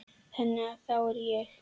Þannig að þá er ég.